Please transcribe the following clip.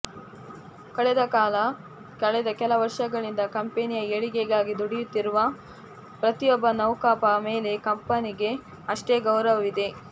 ಕಳೆದ ಕೆಲ ವರ್ಷಗಳಿಂದ ಕಂಪನಿಯ ಏಳಿಗೆಗಾಗಿ ದುಡಿಯುತ್ತಿರುವ ಪ್ರತಿಯೊಬ್ಬ ನೌಕಪ ಮೇಲೆ ಕಂಪನಿಗೆ ಅಷ್ಟೇ ಗೌರವವಿದೆ